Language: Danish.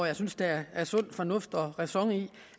jeg synes der er sund fornuft og ræson i